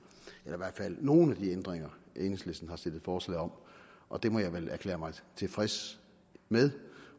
eller i hvert fald nogle af de ændringer enhedslisten har stillet forslag om og det må jeg vel erklære mig tilfreds med